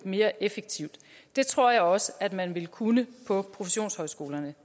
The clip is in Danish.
mere effektivt det tror jeg også at man ville kunne på professionshøjskolerne